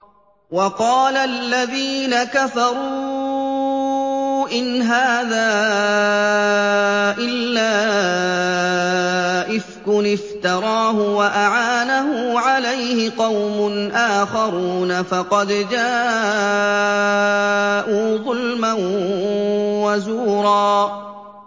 وَقَالَ الَّذِينَ كَفَرُوا إِنْ هَٰذَا إِلَّا إِفْكٌ افْتَرَاهُ وَأَعَانَهُ عَلَيْهِ قَوْمٌ آخَرُونَ ۖ فَقَدْ جَاءُوا ظُلْمًا وَزُورًا